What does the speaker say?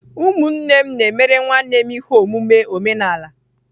Ụmụnne m na-emere nwanne m ihe omume omenala.